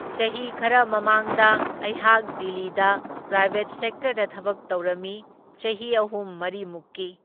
ꯆꯍꯤ ꯈꯔ ꯃꯃꯥꯡꯗ ꯑꯩꯍꯥꯛ ꯗꯤꯜꯂꯤꯗ ꯄ꯭ꯔꯥꯏꯕꯦꯠ ꯁꯦꯛꯇꯔꯗ ꯊꯕꯛ ꯇꯧꯔꯝꯃꯤ ꯆꯍꯤ ꯑꯍꯨꯝ ꯃꯔꯤꯃꯨꯛꯀꯤ꯫